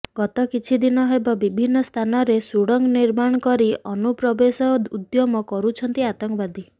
ଗତ କିଛି ଦିନ ହେବ ବିଭିନ୍ନ ସ୍ଥାନରେ ସୁଡଙ୍ଗ ନିର୍ମାଣ କରି ଅନୁପ୍ରବେଶ ଉଦ୍ୟମ କରୁଛନ୍ତି ଆତଙ୍କବାଦୀ